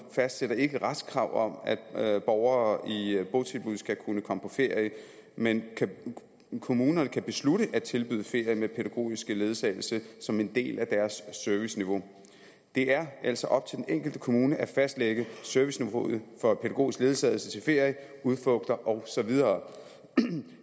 fastsætter ikke retskrav om at borgere i botilbud skal kunne komme på ferie men kommunerne kan beslutte at tilbyde ferie med pædagogisk ledsagelse som en del af deres serviceniveau det er altså op til den enkelte kommune at fastlægge serviceniveauet for pædagogisk ledsagelse til ferier udflugter og så videre